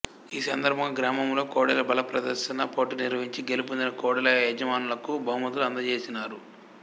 ఈ సందర్భంగా గ్రామములో కోడెల బలప్రదర్శన పోటీలు నిర్వహించి గెలుపొందిన కోడెల యజమానులకు బహుమతులు అందజేసినారు